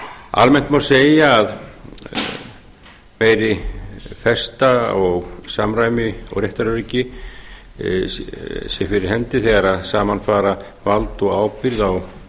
almennt má segja að meiri festa og samræmi og réttaröryggi sé fyrir hendi þegar saman fara vald og ábyrgð á